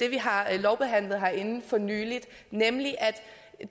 vi har lovbehandlet herinde for nylig nemlig at